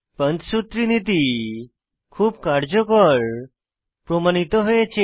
পঞ্চসূত্রী নীতি খুব কার্যকর প্রমাণিত হয়েছে